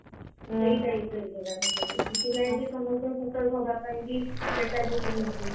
ସେଇ type ର ଏଗୁରା ସବୁ ସେଥିପାଇଁ ବି ସମସ୍ତେ setup ହବ ପାଇଁ କି meta ବି କହିଛି